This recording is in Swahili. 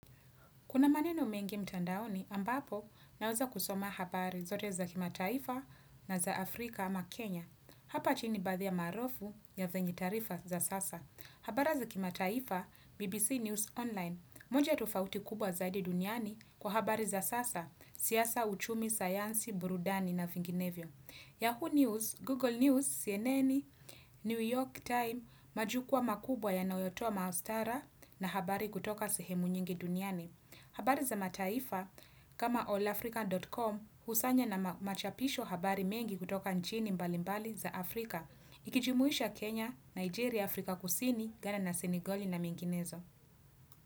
Kuna maneno mengi mtandaoni ambapo naweza kusoma habari zote za kimataifa na za Afrika ama Kenya. Hapa chini baadhi maarufu ya vyenye taarifa za sasa. Habara za kimataifa, BBC News online, moja tufauti kubwa zaidi duniani kwa habari za sasa, siasa uchumi, sayansi, burudani na vinginevyo. Yahoo News, Google News, CNN, New York time, majukua makubwa yanayotoa maastara na habari kutoka sehemu nyingi duniani. Habari za mataifa kama allafrica.com husanya na machapisho habari mengi kutoka nchini mbali mbali za Afrika. Ikijimuisha Kenya, Nigeria, Afrika kusini ghana na Senigoli na menginezo.